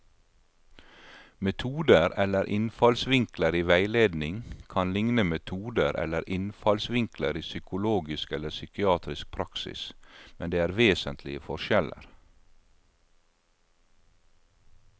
Metoder eller innfallsvinkler i veiledning kan likne metoder eller innfallsvinkler i psykologisk eller psykiatrisk praksis, men det er vesentlige forskjeller.